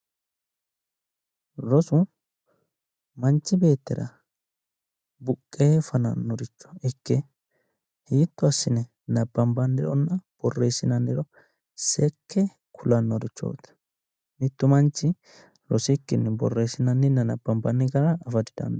Rosu manchi beettira buqqee fanannoricho ikke hiitto assine nabbambannironna borreessinanniro seekke kulannorichooti mittu manchi rosikkinni borreessinanninna nabbambanni gara afa didandaanno